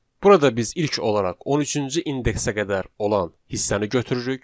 Burada biz ilk olaraq 13-cü indeksə qədər olan hissəni götürürük.